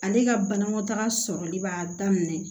Ale ka banakɔtaga sɔrɔli b'a daminɛ